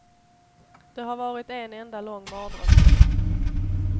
Det har varit en enda lång mardröm.